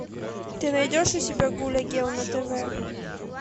ты найдешь у себя гулли герл на тв